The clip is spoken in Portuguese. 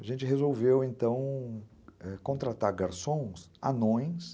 A gente resolveu, então, eh, contratar garçons, anões.